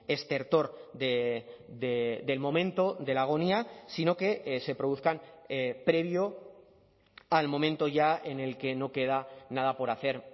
estertor del momento de la agonía sino que se produzcan previo al momento ya en el que no queda nada por hacer